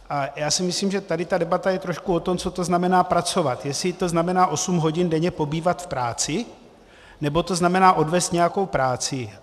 A já si myslím, že tady ta debata je trošku o tom, co to znamená pracovat, jestli to znamená osm hodin denně pobývat v práci, nebo to znamená odvést nějakou práci.